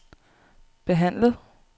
behandlet